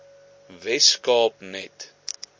wes kaap net